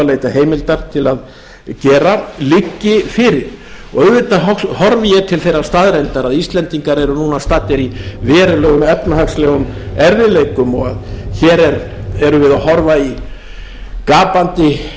er nú að leita heimilar að gera liggi fyrir auðvitað horfi ég til þeirrar staðreyndar að við erum núna staddir í verulega efnahagslegum erfiðleikum og hér erum við að horfa í gapandi